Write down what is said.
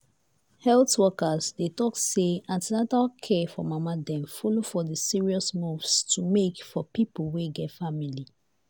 health workers dey talk say an ten atal care for mama dem follow for the serious moves to make for people wey get family.